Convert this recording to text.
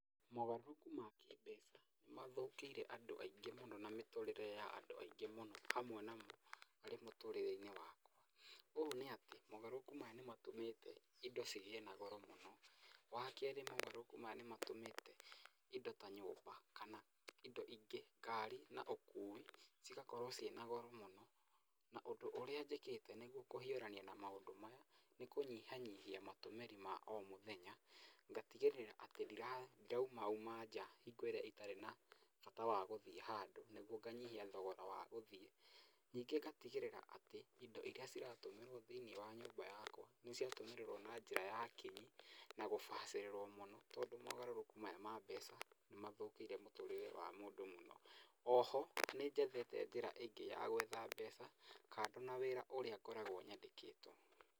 Mogarũrũku ma kĩĩmbeca nĩ mathũkĩire andũ aingĩ mũno na mĩtũũrĩre ya andũ aingĩ mũno hamwe na harĩ mũtũũrĩre-inĩ wakwa. Ũũ nĩ atĩ Mogarũrũku maya nĩ matũmĩte indo cigĩe na goro mũno. Wa kerĩ mogarũrũku maya nĩ matũmĩte indo ta nyũmba kana indo ingĩ kari na ũkũi cigakorwo ciĩna goro mũno. Na ũndũ ũrĩa njĩkĩte nĩguo kũhiũrania na maũdũ maya, nĩ kũnyihanyihia matũmĩri makwa ma o mũthenya. Ngatigĩrĩra atĩ ndiraumauma nja hingo ĩrĩa itarĩ na bata wa gũthiĩ handũ nĩguo nganyihia thogora wa gũthiĩ. Ningĩ ngatigĩrĩra atĩ indo irĩa ciratũmĩrwo thĩini wa nyũmba yakwa nĩ ciatũmĩrwo na njĩra ya kĩnyi na gũbacĩrĩrwo mũno tondũ mogarũrũku maya ma mbeca nĩ mathũkĩire mũtũrĩre wa mũndũ mũno. O ho nĩ njethete njĩra ĩngĩ ya gwetha mbeca kado na wĩra ũrĩa ngoragwo nyandĩkĩtwo.